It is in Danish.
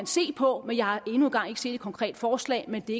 se på men jeg har endnu ikke engang set et konkret forslag men det